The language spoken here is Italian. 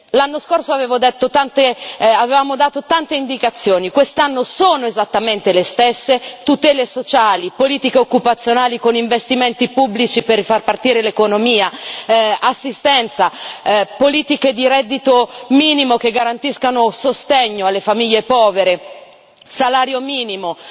L'anno scorso avevamo dato tante indicazioni, quest'anno sono esattamente le stesse tutele sociali, politiche occupazionali con investimenti pubblici per far ripartire l'economia, assistenza, politiche di reddito minimo che garantiscano sostegno alle famiglie povere, salario minimo...